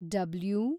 W